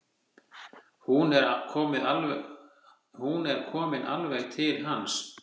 Hún er komin alveg til hans.